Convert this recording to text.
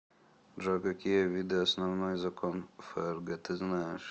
джой какие виды основной закон фрг ты знаешь